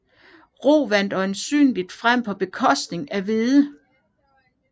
Rug vandt øjensynligt frem på bekostning af hvede